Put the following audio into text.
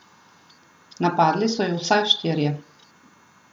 Napadli so ju vsaj štirje.